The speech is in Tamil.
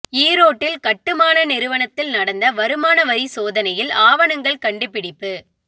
ஈரோட்டில் கட்டுமான நிறுவனத்தில் நடந்த வருமான வரி சோதனையில் ஆவணங்கள் கண்டுபிடிப்பு